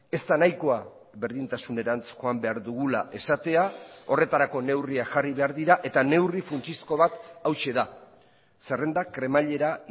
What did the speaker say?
ez da nahikoa berdintasunerantz joan behar dugula esatea horretarako neurriak jarri behar dira eta neurri funtsezko bat hauxe da zerrendak kremailera